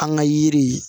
An ka yiri